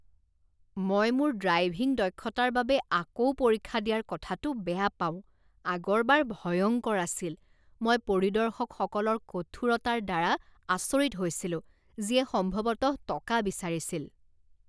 মই মোৰ ড্ৰাইভিং দক্ষতাৰ বাবে আকৌ পৰীক্ষা দিয়াৰ কথাটো বেয়া পাওঁ। আগৰবাৰ ভয়ংকৰ আছিল। মই পৰিদৰ্শকসকলৰ কঠোৰতাৰ দ্বাৰা আচৰিত হৈছিলো যিয়ে সম্ভৱতঃ টকা বিচাৰিছিল।